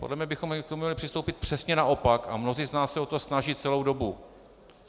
Podle mě bychom k tomu měli přistoupit přesně naopak a mnozí z nás se o to snaží celou dobu.